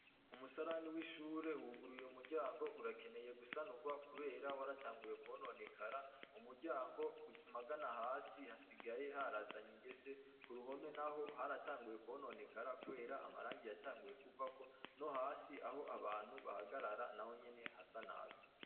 Umusarani w'ishure uruguruye, umuryango urakeneye gusanurwa kubera waratanguye kwononekara. Umuryango magana hasi hasigaye harazanye ingese, k'uruhome naho haratanguye kwononekara kubera amarangi yatanguye kuvako. Nohasi aho abantu bahagarara nahonyene hasa nabi.